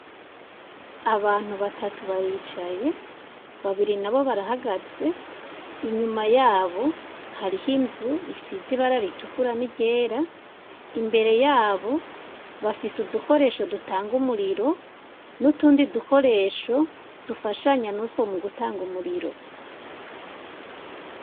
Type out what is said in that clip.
Ahantu batatu baricaye babiri nabo barahagaze inyuma yabo harih'inzu isize irangi ritukura n'iryera imbere yabo bafise udukoresho dutanga umuriro n'utundi dukoresho dufashanya n'utwo mugutanga umuriro.